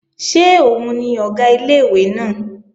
Ṣé òun ni Ọ̀gá ilé-ìwé náà?